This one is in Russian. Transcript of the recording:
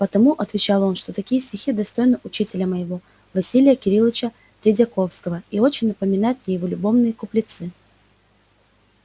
потому отвечал он что такие стихи достойны учителя моего василия кирилыча тредьяковского и очень напоминают мне его любовные куплетцы